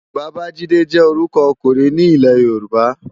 Babajide jè órùkò òkúrin ni Ilè-yoruba